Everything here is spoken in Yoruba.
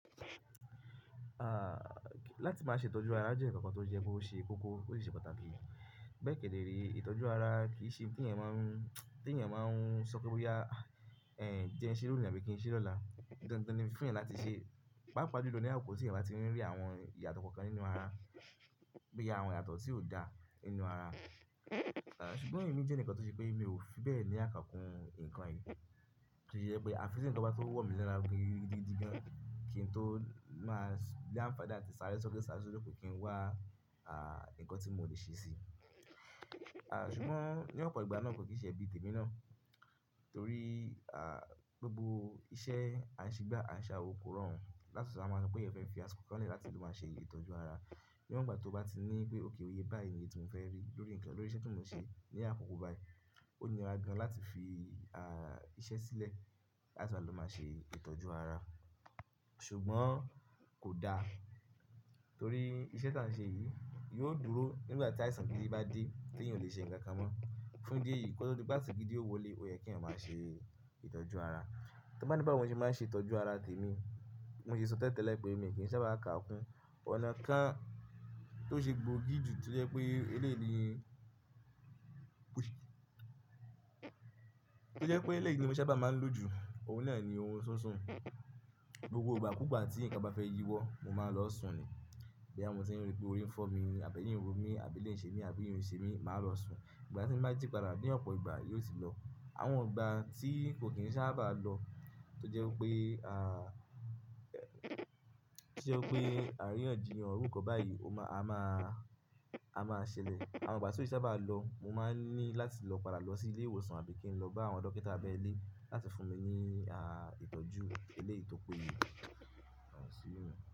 Ah, láti máa ṣe ìtọ́jú ara, jẹ́ ìkànkọ tó jẹ́ pé ó ṣe kókó, ó sì ṣe pàtàkì. Bẹ́eẹ́ kí èdè rẹ̀, ìtọ́jú ara kì í ṣe tí ènìyàn máa ń, tí ènìyàn máa ń sọ pé bóyá, eh, jẹ ẹ́ ṣeré lónìí àbí kí n ṣeré lọ́la. Ìtọ́nà tí fún ènìyàn láti ṣe, pàápàá juló ni àwọn kò sí ènìyàn tí a bá rí àwọn ìyàtọ̀ kankan nínú ara. Bí i àwọn ìyàtọ̀ tí ò dá nínú ara. Ah, ṣùgbọ́n èmi jẹ́ eǹikan tó ṣe pé mi ò fi bẹ́ẹ̀ ní àkànkún nǹkan yìí. To ye pé àfi tì nǹkan bá tó wọ̀ mí lẹ́ra mo gidi gídi gan kí n tó máa s-- l'àǹfàani làti sáré sókè, sáré sódo kí n wá, ah, ǹkan tí mo ò lè ṣe sí i. Ah, ṣùgbọ́n ní ọ̀pọ̀ ìgbà náà kò kì í ṣe ebí tèmi náà. Torí, ah, gbogbo iṣẹ́, à ń ṣe gbá, à ń ṣàwo kò rọrùn. Láti ṣèṣe wa ma máa sọ̀ pé ẹ̀yàn fẹ́ fi àsìkò kan n lẹ̀ láti lo máa ṣe ìtọ́jú ara. Ní ọ̀nà ìgbà tó bá ti ní pé òkay iye báyìí ni iye ti mo fẹ́ rí lórí nǹkan, lórí iṣẹ́ tí mò ń ṣe ní àkókò báyìí, ó nira gan láti fi, ah, iṣẹ́ sílẹ̀ láti wa lọ máa ṣe ìtọ́jú ara. Ṣùgbọ́n kò da. Torí iṣẹ́ tí à ń ṣe yìí yóò dúró nígbà tí àìsàn gidi bá dé tí ènìyàn ò lè ṣe ǹkan kan mọ́. Fún ìdí èyí, kó to di pe àìsàn gidi ò wọlé, ó yẹ kí èeyàn máa ṣe ìtọ́jú ara. Tí wọ́n bá ní báwo ni mo ṣe máa ń ṣe ìtọ́jú ara tèmi, bi mo ṣe sọ tẹ́lẹ̀ tẹ́lẹ̀ pé mi kì í sábà kaàkún. Ọ̀nà kan tó ṣe gbòógì jù to je pé eléèyì ni, to ẹ́ pé eléèyì ni mo sábà máa ń lò jù, òun náà ni orun sísun. Gbogbo ìgbàkuugbà tí nǹkan bá fẹ́ yíwọ́, mo máa lọ sùn ni. Bo ya mo tí ń rí pé orí ń fọ́ mi ni, àbí ẹyìn ń ro mí, àbí eléyi ń ṣe mí, àbí ìrìn ń ṣe mí, màá lọ sùn. Ìgbà tí n bá jí padà bí ọ̀pọ̀ ìgbà, yóò ti lọ. Àwọn ìgbà tí kò kì í sábà lọ, tó jẹ́ pé, ah, tí ó jẹ́ pé àríyànjiyàn irú ǹkan báyìí, ó má-- a máa, a máa ṣẹlẹ̀. Àwọn ìgbà tí ó sábà lọ, mo máa ń ní láti lọ padà lọ sí ilé ìwòsàn àbí kí n lọ bá àwọn dókítà abẹ́lé láti fún mi ní, ah, ìtọ́jú eléèyì tó péye.